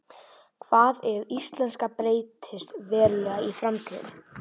Hvað ef íslenskan breytist verulega í framtíðinni?